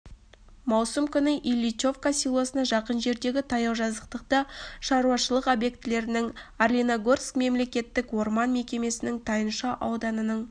маусым күні ильичовка селосына жақын жердегі таяу жазықтықта шаруашылық обьектілерінің орлиногорск мемлекеттік орман мекемесінің тайынша ауданының